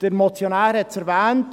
Der Motionär hat es erwähnt: